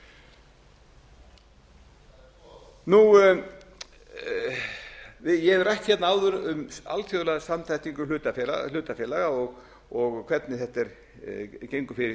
nú á dögum ég hef rætt hérna áður um alþjóðlega samþættingu hlutafélaga og hvernig þetta gengur fyrir sig úti í